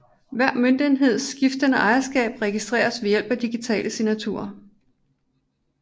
Hver møntenheds skiftende ejerskab registreres ved hjælp af digitale signaturer